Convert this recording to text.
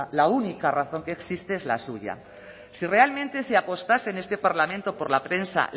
la única razón que existe es la suya si realmente se apostase en este parlamento por la prensa